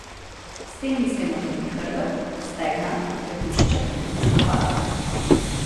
S tem mislimo tudi hrbet, stegna, trebušček in stopala.